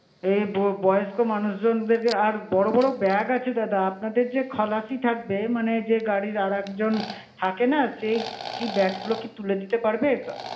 হেবূ~ বয়স্ক মানুষজনদের আর বড় বড় bag আছে দাদা, আপনাদের যে খালাসি থাকবে মানে যে গাড়ির আর একজন থাকে না, সে কী bag গুলো তুলে দিতে পারবে?